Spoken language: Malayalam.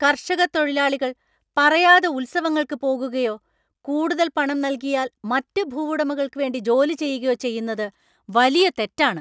കർഷക തൊഴിലാളികൾ പറയാതെ ഉത്സവങ്ങൾക്ക് പോകുകയോ, കൂടുതൽ പണം നൽകിയാൽ മറ്റ് ഭൂവുടമകൾക്ക് വേണ്ടി ജോലി ചെയ്യുകയോ ചെയ്യുന്നത് വലിയ തെറ്റാണ്.